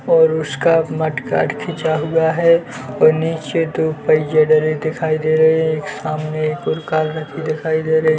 --और उसका mudguard खींचा हुआ है और नीचे दो पहिये धरे दिखाई दे रहे एक सामने एक और कार दिखाई दे रही--